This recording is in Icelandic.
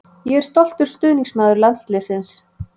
Ég er stoltur stuðningsmaður landsliðsins.